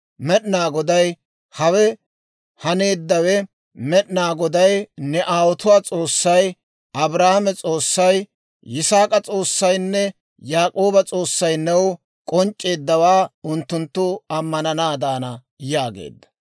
Med'inaa Goday, «Hawe haneeddawe, Med'inaa Goday ne aawotuwaa S'oossay, Abrahaama S'oossay, Yisaak'a S'oossaynne Yaak'ooba S'oossay new k'onc'c'eeddawaa unttunttu ammananaadana» yaageedda.